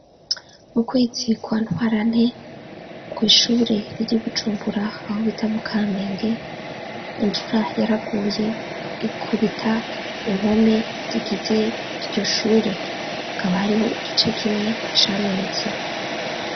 Mu kwezi kwa ntwarane kw'ishure riri Bujumbura ahobita mu kamenge, imvura yaraguye ikubita impome zigize iryo shure, hakaba hariho igice kimwe camenetse.